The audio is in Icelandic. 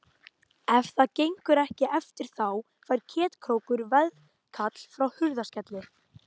Ef það gengur ekki eftir þá fær Ketkrókur veðkall frá Hurðaskelli.